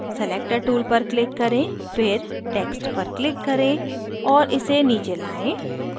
selector tool पर click करें फिर text पर click करें और इसे नीचे लाएं